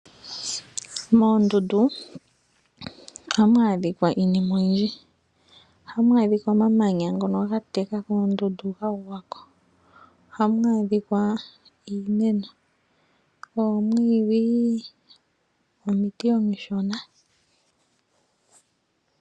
Moondundu oha mu adhika iinima oyindji oha mu adhika omamanya ngono ga teka koondundu ga gwa ko, oha mu adhika iimeno, oomwiidhi nomiti omishona.